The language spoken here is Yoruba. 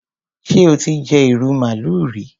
Ṣé o ti jẹ ìrù màálù rí?